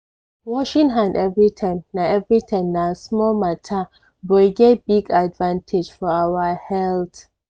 washing hand everytime na everytime na small matter but e get big advantage for our health.